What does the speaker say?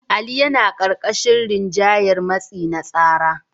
Ali yana ƙarƙashin rinjayar matsi na tsara.